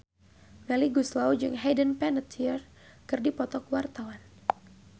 Melly Goeslaw jeung Hayden Panettiere keur dipoto ku wartawan